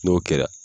N'o kɛra